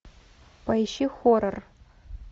поищи хоррор